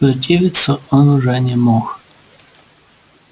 противиться он уже не мог